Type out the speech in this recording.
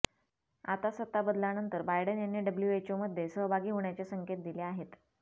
आता सत्ताबदलानंतर बायडन यांनी डब्लूएचओमध्ये सहभागी होण्याचे संकेत दिले आहेत